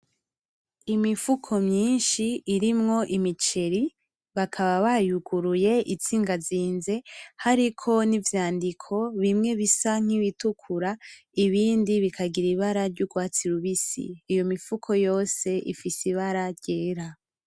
Imifuko myishi irimwo imiceri bakaba bayunguruye iziganzize hariko nivyandiko bimwe bisa kibitukura, ibindi bikagira imbara ry’urwasi rubisi .Iyo mifuko yose ifise imbara ryera.